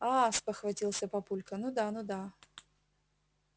аа спохватился папулька ну да ну да